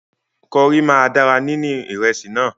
Kọrí máa dára níní ìrẹsì náà.